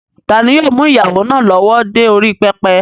Tani yóò mú ìyàwó náà lọ́wọ́ dé orí pẹpẹ?